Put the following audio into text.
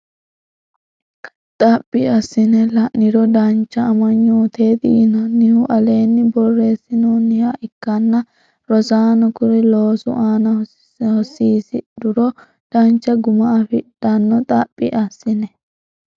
Xaphi assine la niro dancha amanyooteeti yinannihu aleenni borreesinoonniha ikkanna rosaano kuri loosu aana hosiisidhuro dancha guma afidhanno Xaphi assine.